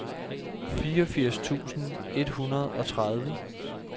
fireogfirs tusind et hundrede og tredive